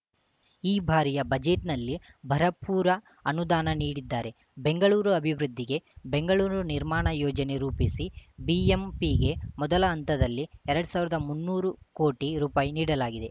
ಈ ಬಾರಿಯ ಬಜೆಟ್‌ನಲ್ಲಿ ಭರಪೂರ ಅನುದಾನ ನೀಡಿದ್ದಾರೆ ಬೆಂಗಳೂರು ಅಭಿವೃದ್ಧಿಗೆ ಬೆಂಗಳೂರು ನಿರ್ಮಾಣ ಯೋಜನೆ ರೂಪಿಸಿ ಬಿಎಂಪಿಗೆ ಮೊದಲ ಹಂತದಲ್ಲಿ ಎರಡ್ ಸಾವಿರದ ಮುನ್ನೂರು ಕೋಟಿ ರುಪಾಯಿ ನೀಡಲಾಗಿದೆ